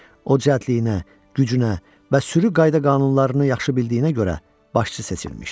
O cəldliyinə, gücünə və sürü qayda-qanunlarını yaxşı bildiyinə görə başçı seçilmişdi.